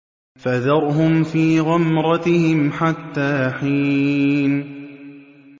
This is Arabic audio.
فَذَرْهُمْ فِي غَمْرَتِهِمْ حَتَّىٰ حِينٍ